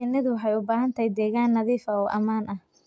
Shinnidu waxay u baahan tahay deegaan nadiif ah oo ammaan ah.